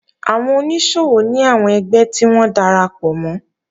Àwọn oníṣòwò ní àwọn ẹgbẹ́ tí wọ́n darapọ̀ mọ́